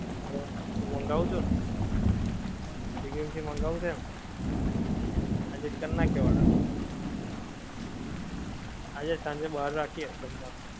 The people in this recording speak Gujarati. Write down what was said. hello તું મંગાઉં છે ને, swiggy માંથી મંગાઉં છે ને, આજે કર નાખીએ order, આજે સાંજે બહાર રાખીયે જમવા નું